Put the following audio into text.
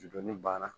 Dɔnni banna